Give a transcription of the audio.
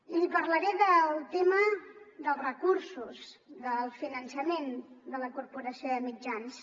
i li parlaré del tema dels recursos del finançament de la corporació de mitjans